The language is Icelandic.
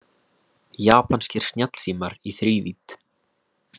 Japanskir snjallsímar í þrívídd